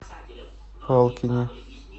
палкине